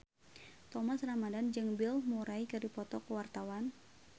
Thomas Ramdhan jeung Bill Murray keur dipoto ku wartawan